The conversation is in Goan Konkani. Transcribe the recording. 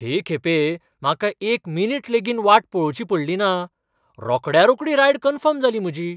हे खेपे म्हाका एकमिनिट लेगीत वाट पळोवची पडली ना. रोखड्या रोखडी रायड कन्फर्म जाली म्हजी.